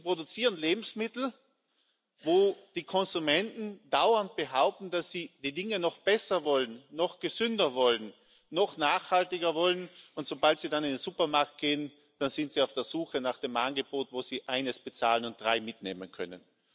Sie produzieren Lebensmittel und die Konsumenten behaupten dauernd, dass sie die Dinge noch besser wollen, noch gesünder wollen, noch nachhaltiger wollen, und sobald sie dann in den Supermarkt gehen, sind sie auf der Suche nach dem Angebot, wo sie eines bezahlen und drei mitnehmen können.